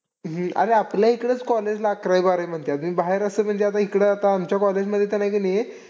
अरे आपल्या इकडंच college ला अकरावी बारावी म्हणतात. मी बाहेर असं म्हणजे आता इकडं आता आमच्या college मध्ये तर हाय की नाही.